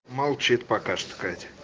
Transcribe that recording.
молчит пока что катя